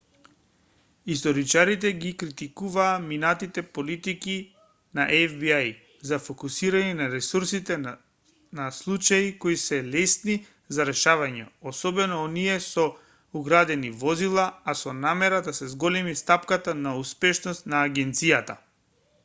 историчарите ги критикуваат минатите политики на фби за фокусирање на ресурсите на случаи кои се лесни за решавање особено оние со украдени возила а со намера да се зголеми стапката на успешност на агенцијата